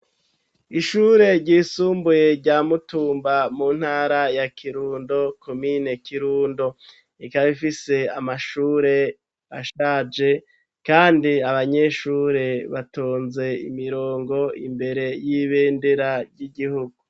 Ishure ryisumbuye rya mutumba mu ntara ya kirundo komine kirundo rikaba rifise amashure ashaje kandi abanyeshure batonze imirongo imbere y'ibendera ry'igihugu.